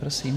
Prosím.